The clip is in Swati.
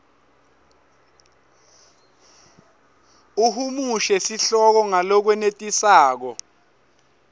uhumushe sihloko ngalokwenetisako